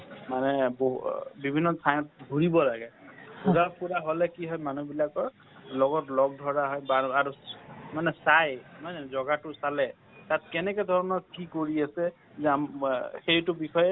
মানে বহু বিভিন্ন ঠাইত ঘুৰিব লাগে ঘুৰা ফুৰা হলে কি হয় মানুহ বিলাকৰ লগত লগ ধৰা হয় মানে চাই নহয় জানো জগাটো চালে কেনেকা ধৰণৰ কি কৰি আছে সেইটো বিষয়ে